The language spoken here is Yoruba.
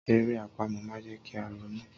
Eré àpamọ̀ máa ń jẹ́ kí a ronú.